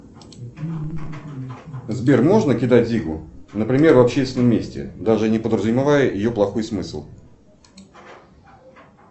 сбер можно кидать зигу например в общественном месте даже не подразумевая ее плохой смысл